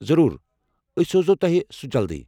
ضروٗر، أسۍ سوزو تۄہہ سُہ جلدٕی ۔